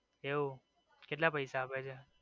એવું કેટલા પૈસા આપે છે?